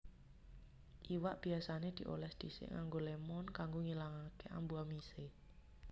Iwak biasané diolès dhisik nganggo lémon kanggo ngilangake ambu amisé